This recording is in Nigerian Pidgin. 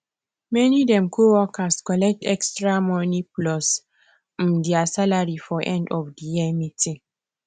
many um co worker collect extra money plus um there salary for end of the year meeting